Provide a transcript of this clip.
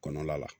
Kɔnɔ la